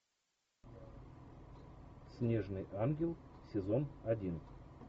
снежный ангел сезон один